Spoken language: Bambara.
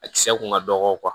A kisɛ kun ka dɔgɔ